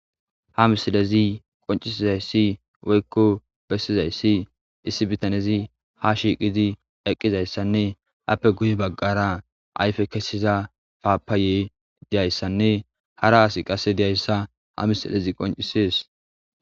Ha misilezi qoncisizayssi woykko bessizayssi issi bitanezi ha shiiqidi eqqizayssanne appe guye baggara ayfe kesiza paapaaye diyayssanne hara asi qasse diyayssa ha misilezi qoncisees.